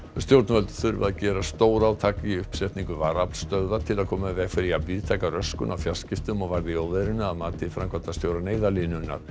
stjórnvöld þurfa að gera stórátak í uppsetningu varaaflsstöðva til að koma í veg fyrir jafn víðtæka röskun á fjarskiptum og varð í óveðrinu að mati framkvæmdastjóra Neyðarlínunnar